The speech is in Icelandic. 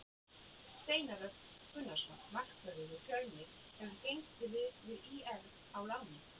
Steinar Örn Gunnarsson markvörður úr Fjölni hefur gengið til liðs við ÍR á láni.